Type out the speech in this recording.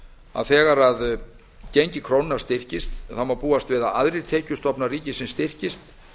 að þegar gengi krónunnar styrkist má búast við að aðrir tekjustofnar ríkisins styrkist